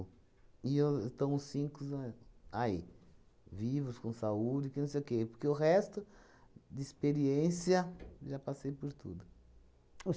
E eu estão os cincos a aí, vivos, com saúde, que não sei o quê, porque o resto de experiência já passei por tudo.